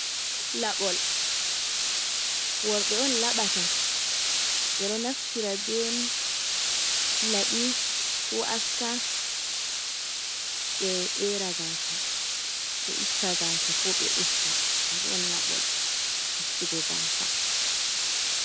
Laɓol worɓe on laɓata, ɓe ɗo naftira be laɓi, ko aska ɓe ƴera gaasa, ɓe itta gaasa, ko ɓe usta, je'on laɓol ustugo gaasa.